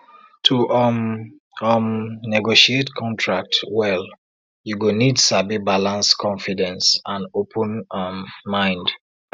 to um um negotiate contract well you go need sabi balance confidence and open um mind